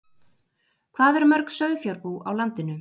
Hvað eru mörg sauðfjárbú á landinu?